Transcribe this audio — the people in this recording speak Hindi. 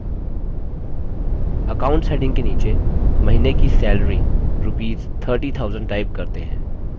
accounts heading के नीचे महीने की सैलरी rupees 30000 type करते हैं